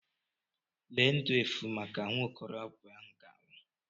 Lee ndu efu maka nwa okorobịa ahụ ga-anwụ.